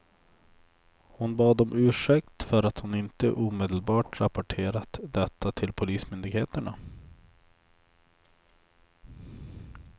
Hon bad om ursäkt för att hon inte omedelbart rapporterat detta till polismyndigheterna.